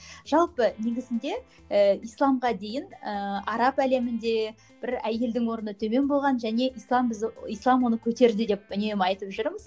жалпы негізінде ііі исламға дейін ііі араб әлемінде бір әйелдің орны төмен болған және ислам бізді ислам оны көтерді деп үнемі айтып жүрміз